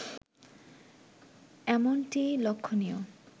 এমনটিই লক্ষণীয়